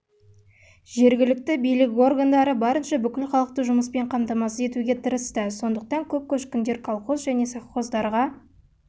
жергілікті билік органдары барынша бүкіл халықты жұмыспен қамтамасыз етуге тырысты сондықтан көп көшкіндер колхоз және совхоздарға